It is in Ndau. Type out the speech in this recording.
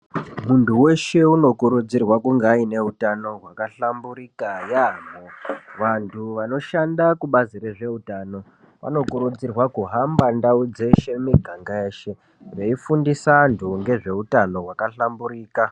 Muntu weshe unokurudzirwa kunga aine utano hwakahlamburika yaamho. Vantu vanoshanda kubazi rezveutano vanokurudzirwa kuhamba ndau dzeshe, miganga yeshe veifundisa antu ngezveutano hwakahlamburika.